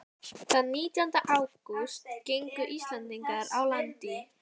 Þann nítjánda ágúst gengu Íslendingarnir á land í